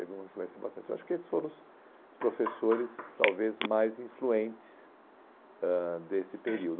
teve uma influência bastante. Eu acho que esses foram os professores talvez mais influentes ãh desse período.